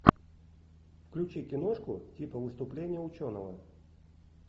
включи киношку типа выступление ученого